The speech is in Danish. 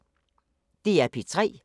DR P3